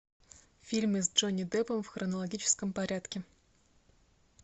фильмы с джонни деппом в хронологическом порядке